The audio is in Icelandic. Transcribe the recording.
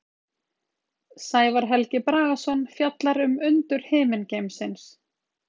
Sævar Helgi Bragason fjallar um undur himingeimsins.